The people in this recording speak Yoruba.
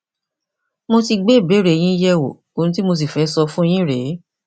mo ti gbé ìbéèrè yín yẹwò ohun tí mo sì fẹ sọ fún yín rèé